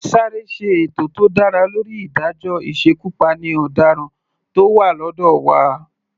Sáré ṣe ètò tó dára lórí ìdájọ́ ìsekupáni ọ̀daràn tó wà lọ́dọ̀ wa.